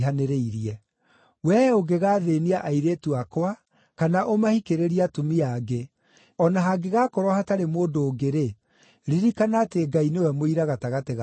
Wee ũngĩgaathĩĩnia airĩtu akwa kana ũmahikĩrĩrie atumia angĩ, o na hangĩgakorwo hatarĩ mũndũ ũngĩ-rĩ, ririkana atĩ Ngai nĩwe mũira gatagatĩ gakwa nawe.”